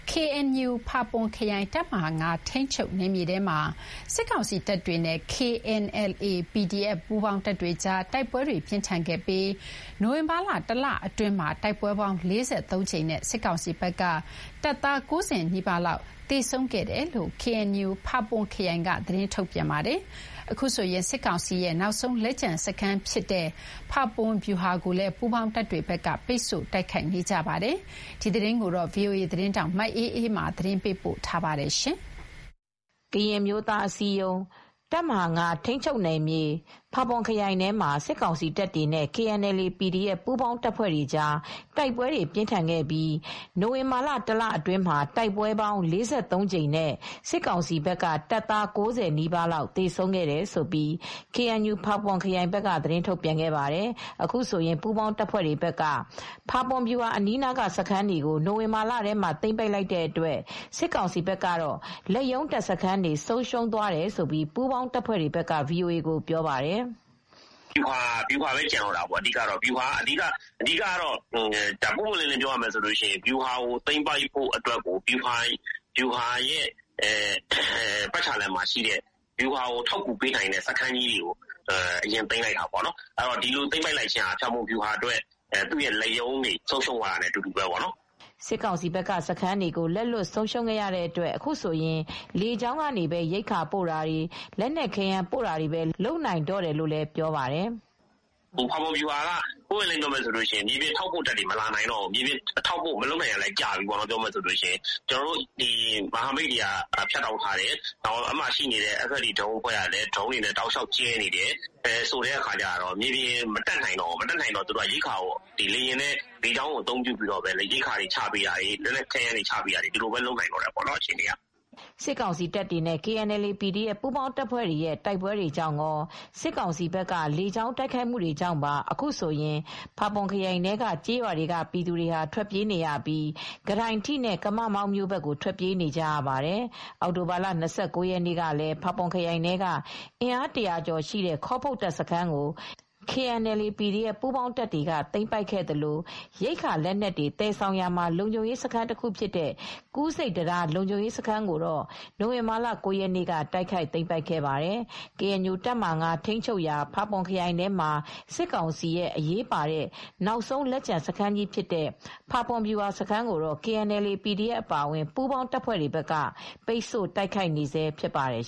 KNU ဖာပွန်ခရိုင် တပ်မဟာ ၅ ထိန်းချုပ်နယ်မြေထဲမှာ စစ်ကောင်စီတပ်တွေနဲ့ KNLA /PDF ပူးပေါင်းတပ်တွေကြား တိုက်ပွဲတွေပြင်းထန်ခဲ့ပြီး နိုဝင်ဘာလ တလအတွင်းမှာတိုက်ပွဲပေါင်း ၄၃ကြိမ်နဲ့ စစ်ကောင်စီဘက်က တပ်သား ၉၀ နီးပါးလောက်သေဆုံးခဲ့တယ်လို့ KNUဖာပွန်ခရိုင်က သတင်းထုတ်ပြန်ခဲ့ပါတယ်။ အခုဆိုရင် စစ်ကောင်စီရဲ့နောက်ဆုံးလက်ကျန်စခန်းဖြစ်တဲ့ ဖာပွန်ဗျူဟာကိုလည်းပူးပေါင်းတပ်တွေဘက်ကပိတ်ဆို့တိုက်ခိုက်နေပါတယ်။ဒီသတင်းကိုဗွီအိုအေသတင်းထောက်မအေးအေးမာကသတင်းပေးပို့ထားပါတယ်။ ကရင်အမျိုးသားအစည်းအရုံး တပ်မဟာ ၅ နယ်မြေ ဖာပွန်ခရိုင်ထဲမှာ စစ်ကောင်စီတပ်တွေနဲ့ KNLA /PDF ပူးပေါင်းတပ်တွေကြား တိုက်ပွဲတွေပြင်းထန်ခဲ့ပြီး နိုဝင်ဘာလတလအတွင်းမှာတိုက်ပွဲပေါင်း ၄၃ ကြိမ်နဲ့ စစ်ကောင်စီဘက်က တပ်သား ၉၀ နီးပါးလောက် သေဆုံးခဲ့တယ်လို့ KNUဖာပွန်ခရိုင်က သတင်းထုတ်ပြန်ခဲ့ပါတယ်။ အခုဆိုရင်ပူးပေါင်းတပ်တွေဘက်က ဖာပွန်ဗျူဟာအနီးအနားက စခန်းတွေကို နိုဝင်ဘာလထဲမှာသိမ်းပိုက်လိုက်တဲ့အတွက် စစ်ကောင်စီဘက်ကတော့လက်ရုံးတပ်စခန်းတွေဆုံးရှုံးသွားတယ်လို့ပူးပေါင်းတပ်ဖွဲ့ဘက်က VOA ကိုပြောပါတယ်။ "အဓိကတော့ ဗျူဟာပဲကျန်တော့တာပေါ့ ပွင့်ပွင့်လင်းလင်းပြောရရင်တော့ ဗျူဟာကိုသိမ်းပိုက်ဖို့အတွက်ကို ဗျူဟာရဲ့ပတ်ချာလည်မှာရှိတဲ့ ဗျူဟာကိုထောက်ကူပေးနိုင်တဲ့စခန်းကြီးတွေကို အရင်သိမ်းလိုက်တာပေါ့ ဒီလိုသိမ်းပိုက်ခြင်းဟာဖာပွန်ဗျူဟာအတွက် သူ့ ရဲ့လက်ရုံးစခန်းတွေ ဆုံးရှုံးသွားတာနဲ့အတူတူပဲပေါ့နော်" စစ်ကောင်စီဘက်ကစခန်းတွေကိုလက်လွှတ်ဆုံးရှုံးရတဲ့အတွက် အခုဆိုရင်လေကြောင်းကနေပဲ ရိက္ခာပို့တာတွေ လက်နက်ခဲယမ်းတွေပို့တာပဲလုပ်နိုင်တော့တယ်လို့ပြောပါတယ်။ "ဖာပွန်ဗျူဟာက ပြောရရင်တော့ မြေပြင်ထောက်ပို့တပ်တွေမလာနိုင်တော့ဘူး၊ ထောက်ပို့မူ့တွေမလုပ်နိုင်တာလည်းကြာပြီး ကျနော်တို့မြေပြင်ကနေ မဟာမိတ်တပ်ဖွဲ့တွေလည်းဖြတ်တောက်ထားတယ်၊ FFT ဒရုန်းတပ်ဖွဲ့တွေကလည်း လေကြောင်းကနေ ဒရုန်းတွေနဲ့ချပေးတယ်၊ မြေပြင်ကိုမတက်နိုင်တော့ဘူး။ သူတို့က ရိက္ခာကိုလေကြောင်းကနေ ချပေးတာတွေ စစ်လက်နက်ပစ္စည်းတွေကိုလည်း လေကြောင်းကနေ ချတာတွေပဲလုပ်နိုင်တော့တယ်" စစ်ကောင်စီတပ်တွေနဲ့ KNLA/PDF ပူးပေါင်းတပ်တွေ ရဲ့တိုက်ပွဲတွေကြောင့် ကော စစ်ကောင်စီဘက်က လေကြောင်းတိုက်ခိုက်မှုတွေကြောင့်ပါ အခုဆိုရင်ဖာပွန်ခရိုင်ထဲကကျေးရွာတွေကပြည်သူတွေဟာထွက်ပြေးနေရပြီး ကတိုင်ထိ နဲ့ ကမမောင်း မြို့ဘက်ကို ထွက်ပြေးနေကြရပါတယ်။ အောက်တိုဘာလ ၂၉ ရက်နေ့ကလည်း ဖာပွန်ခရိုင်ထဲက အင်အား ၁၀၀ကျော်ရှိတဲ့ ခေါပုတ် စခန်းကို လည်း KNLA/PDFပူးပေါင်းတပ်တွေကသိမ်းပိုက်ခဲ့သလို ရိက္ခာလက်နက်တွေသယ်ဆောင်ရာမှာလုံခြုံရေးစခန်းတခုဖြစ်တဲ့ကူးဆိပ်တံတားလုံခြုံရေးစခန်းကိုတော့ နိုဝင်ဘာလက ၉ရက်နေ့က တိုက်ခိုက်သိမ်းပိုက်ခဲ့ပါတယ်။ KNU တပ်မဟာ ၅ ထိမ်းချုပ်ရာ ဖာပွန်ခရိုင်ထဲမှာ စစ်ကောင်စီရဲ့ အရေးပါတဲ့ နောက်ဆုံးလက်ကျန်စခန်းကြီးဖြစ်တဲ့ ဖာပွန်ဗျူဟာစခန်းကို KNLA /PDF အပါအဝင် ပူးပေါင်းတပ်တွေကပိတ်တို့ တိုက်ခိုက်နေဆဲဖြစ်ပါတယ်